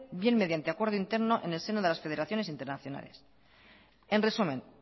bien mediante acuerdo interno en el seno de las federaciones internacionales en resumen